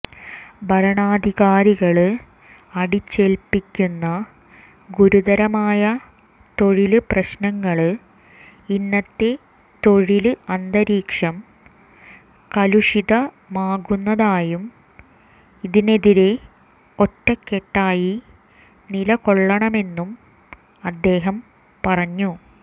ഭരണാധികാരികള് അടിച്ചേല്പ്പിക്കുന്ന ഗുരുതരമായ തൊഴില് പ്രശ്നങ്ങള് ഇന്നത്തെ തൊഴില് അന്തരീക്ഷം കലുഷിതമാക്കുന്നതായും ഇതിനെതിരെ ഒറ്റക്കെട്ടായി നിലകൊള്ളണമെന്നും അദ്ദേഹം പറഞ്ഞു